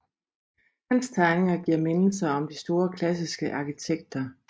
Hans tegninger giver mindelser om de store klassiske arkitekter